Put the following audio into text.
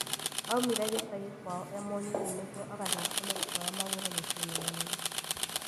Aumire gĩcagi kwao e mũnini nĩguo agathake mũbira wa magũrũ mũciĩ-inĩ mũnene